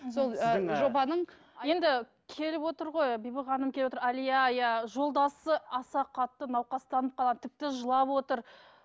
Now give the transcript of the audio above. енді келіп отыр ғой бибі ханым келіп отыр әлия иә жолдасы аса қатты науқастанып қалған тіпті жылап отыр